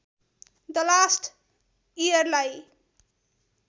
the last इयरलाई